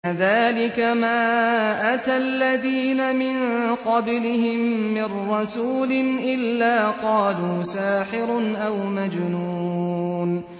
كَذَٰلِكَ مَا أَتَى الَّذِينَ مِن قَبْلِهِم مِّن رَّسُولٍ إِلَّا قَالُوا سَاحِرٌ أَوْ مَجْنُونٌ